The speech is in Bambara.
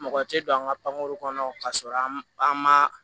Mɔgɔ tɛ don an ka pankoro kɔnɔ k'a sɔrɔ an ma an ma